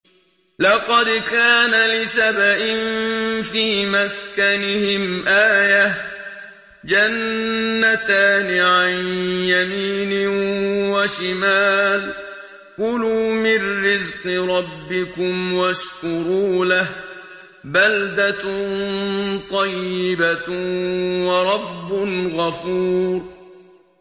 لَقَدْ كَانَ لِسَبَإٍ فِي مَسْكَنِهِمْ آيَةٌ ۖ جَنَّتَانِ عَن يَمِينٍ وَشِمَالٍ ۖ كُلُوا مِن رِّزْقِ رَبِّكُمْ وَاشْكُرُوا لَهُ ۚ بَلْدَةٌ طَيِّبَةٌ وَرَبٌّ غَفُورٌ